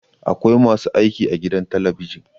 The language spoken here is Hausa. Akwai masu aiki a gidan talabijin